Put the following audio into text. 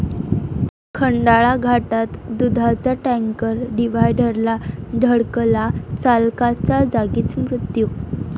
खंडाळा घाटात दुधाचा टँकर डिव्हायडरला धडकला, चालकाचा जागीच मृत्यू